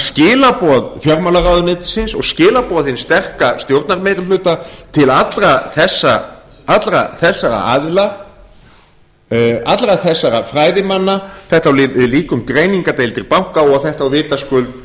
skilaboð fjármálaráðuneytisins og skilaboð hins sterka stjórnarmeirihluta til allra þessara aðila allra þessara fræðimanna þetta á líka við um greiningardeildir banka og þetta á vitaskuld